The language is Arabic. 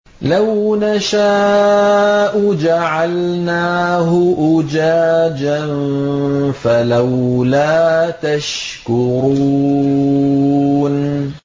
لَوْ نَشَاءُ جَعَلْنَاهُ أُجَاجًا فَلَوْلَا تَشْكُرُونَ